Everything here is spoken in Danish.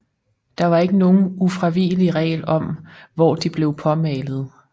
Der var ikke nogen ufravigelig regel om hvor de blev påmalet